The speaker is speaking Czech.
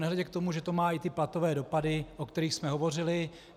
Nehledě k tomu, že to má i ty platové dopady, o kterých jsme hovořili.